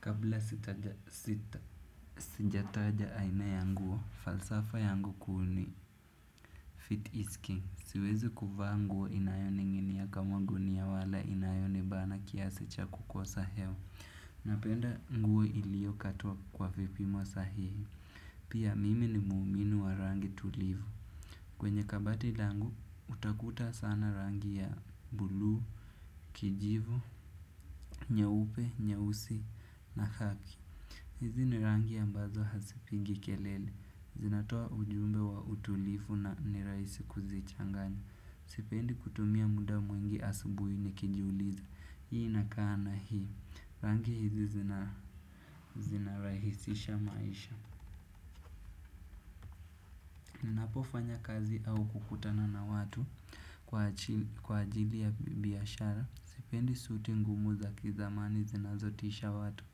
Kabla sijataja aina ya nguo, falsafa ya nguo kuuni, fit is king. Siwezi kuvaa nguo inayoni nginia kama gunia wala inayoni bana kiasi cha kukosa hewa. Napenda nguo ilio katua kwa vipimo sahihi. Pia mimi ni muuminu wa rangi tulivu. Kwenye kabati langu, utakuta sana rangi ya bulu, kijivu, nyeupe, nyeuusi na khaki. Hizi ni rangi ambazo hasipingi kelele, zinatoa ujumbe wa utulifu na niraisi kuzichanganya. Sipendi kutumia muda mwengi asubuhi ni kijuliza, hii inakana hii, rangi hizi zinaraisisha maisha. Ninapofanya kazi au kukutana na watu kwa ajili ya biyashara, sipendi suti ngumu za kizamani zinazotisha watu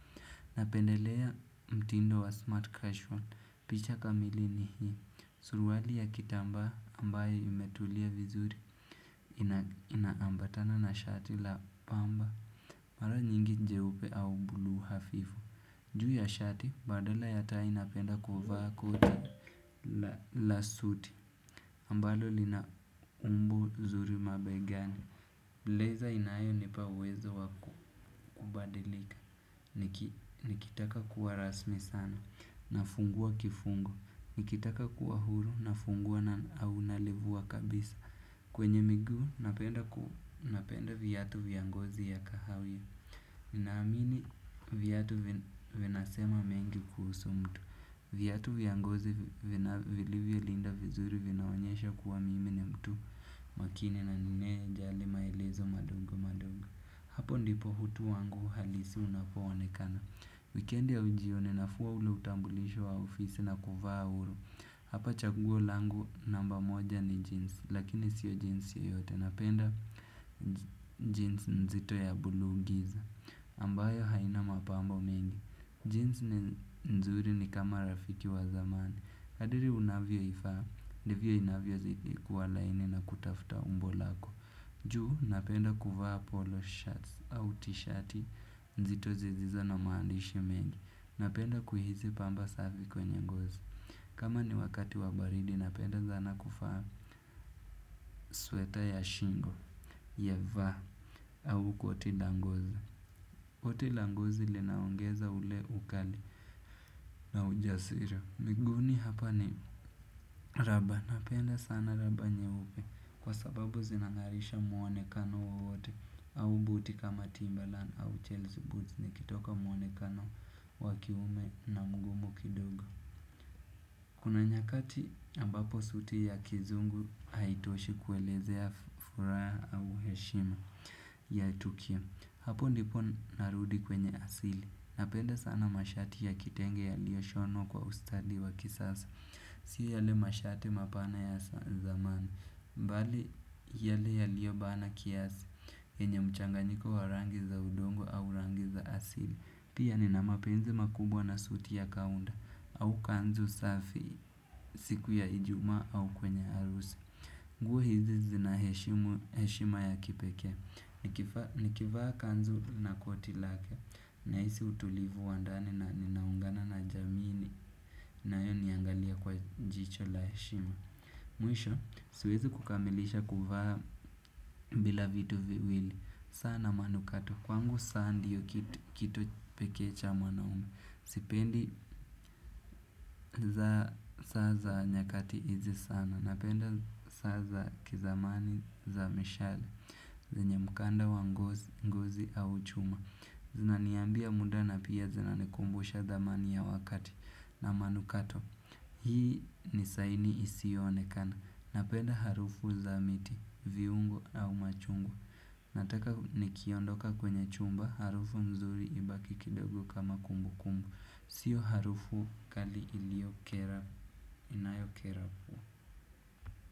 napendelea mtindo wa smart casual. Picha kamili ni hii. Suruwali ya kitamba ambayo imetulia vizuri inaambatana na shati la pamba. Mara nyingi njeupe au bulu hafifu. Juhi ya shati, badala ya tai napenda kuva koti la suti. Mbalo lina umbo zuri mabegani. Blazer inayo nipa uwezo wakubadilika. Nikitaka kuwarasmi sana. Nafungua kifungu, ikitaka kuwa huru, nafungua na unalivuwa kabisa. Kwenye migu, napenda viyatu viyangozi ya kahawia. Ninamini vyatu vinasema mengi kuhusu mtu. Vyatu viyangozi vilivyo linda vizuri vinaonyesha kuwa mimi ni mtu makini na nine jali maelezo madongo madongo. Hapo ndipo hutu wangu halisi unapowonekana. Weekend ya ujio ninafua ule utambulishu wa ofisi na kuvaa uru. Hapa chaguo langu namba moja ni jeans. Lakini sio jeans yoyote. Napenda jeans nzito ya buluu giza ambayo haina mapambo mengi Jeans nzuri ni kama rafiki wa zamani. Kadiri unavyo ifa ndivyo inavyo ziti kualaini na kutafuta umbo lako. Juhu napenda kuvaa polo shirts au t-shirt nzito zisizo na maandishi mengi. Napenda kuhizi pamba savi kwenye ngozi. Kama ni wakati wabaridi napenda zana kufa. Sweater ya shingo Yeva Au koti langozi ote langozi linaongeza ule ukali na ujasiri miguni hapa ni raba. Napenda sana raba nyeube. Kwa sababu zinangarisha muone kano wowote. Au buti kama timbalan au chelzi buti nikitoka muonekano wakiume na mgumu kidogo. Kuna nyakati ambapo suti kizungu haitoshi kuelezea furaha au heshima ya tukio. Hapo ndipo narudi kwenye asili. Napenda sana mashati ya kitenge ya lio shono kwa ustadi wa kisasa. Sia yale mashati mapana ya zamani. Mbali yale ya lio bana kiasi enye mchanganyiko wa rangi za udongo au rangi za asili. Pia nina mapenzi makubwa na suti ya kaunda au kanzu safi siku ya hijuma au kwenye arusi. Nguo hizi zina heshima ya kipeke. Nikivaa kanzu na kotilake na hizi utulivu wandani na ninaungana na jamini nayo niangalia kwa jicho la heshima. Mwisho siwezi kukamilisha kufaa bila vitu viwili. Sana manukato, kwangu saa ndiyo kitu peke cha mwanaume. Sipendi za saa za nyakati izi sana. Napenda saa za kizamani za mishale yenye mkanda wa ngozi au chuma zinaniambia muda na pia zinakumbusha thamani ya wakati na manukato hii ni saini isiyoonekana napenda harufu za miti viungo au machungo. Nataka nikiondoka kwenye chumba harufu mzuri ibaki kidogo kama kumbu kumbu. Sio harufu kali iliokera inayokera.